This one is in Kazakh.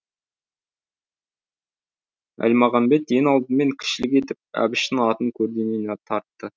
әлмағамбет ең алдымен кішілік етіп әбіштің атын көлденең тартты